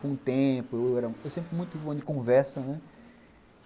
Com o tempo, eu era sempre muito bom de conversa, né?